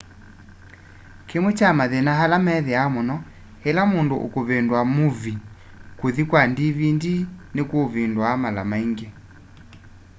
kĩmwe kya mathĩna ala methĩawa mũno ĩla mũndũ ũkũvĩndũa movĩe kũthĩ kwa dvd nĩkũvĩndũa mala maĩngĩ